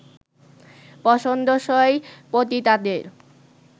পছন্দসই পতিতাদের